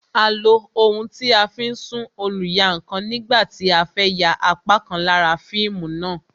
A lo ohun tí a fi ń sún oluyankan nígbà tí a fẹ ya apá kan lára fíìmù náà